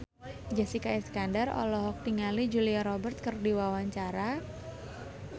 Jessica Iskandar olohok ningali Julia Robert keur diwawancara